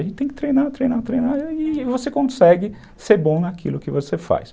A gente tem que treinar, treinar, treinar, e você consegue ser bom naquilo que você faz.